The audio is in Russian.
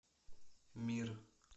мир